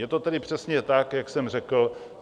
Je to tedy přesně tak, jak jsem řekl.